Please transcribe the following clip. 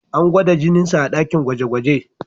An gwada jininsa a dakin gwaje-gwaje.